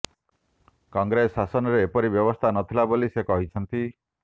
କଂଗ୍ରେସ ଶାସନରେ ଏପରି ବ୍ୟବସ୍ଥା ନଥିଲା ବୋଲି ସେ କହିଛନ୍ତ